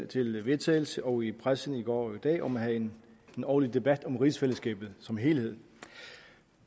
til vedtagelse og i pressen i går og i dag om at have en årlig debat om rigsfællesskabet som helhed